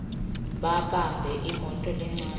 babambe imoto lencane